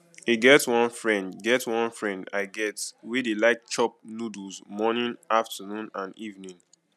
e get one friend get one friend i get wey dey like chop noodles morning afternoon and evening